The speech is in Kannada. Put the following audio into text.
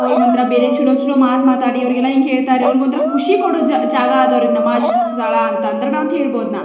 ಅವರಿಗೆ ಒಂತರ ಬೇರೆ ಚಲೋ ಚಲೋ ಮಾತ್ ಮಾತಾಡಿ ಅವರಿಗೆ ಹೇಳ್ತಾರೆ ಅವರಿಗೆ ಒಂತರ ಖುಷಿ ಕೋದಂತಹ ಜಾಗ ಅದು ನಮಾಜ್ ಸ್ಥಳ ಅಂತ ಹೇಳ್ಬಹುದು ನಾ --